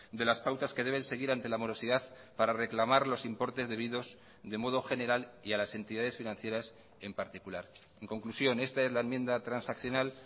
de las pautas que deben seguir ante la morosidad para reclamar los importes debidos de modo general y a las entidades financieras en particular en conclusión esta es la enmienda transaccional